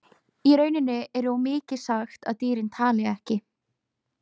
Í rauninni er of mikið sagt að dýrin tali ekki.